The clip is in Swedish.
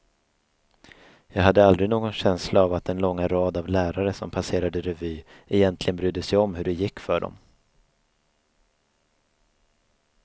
Jag hade aldrig någon känsla av att den långa rad av lärare som passerade revy egentligen brydde sig om hur det gick för dem.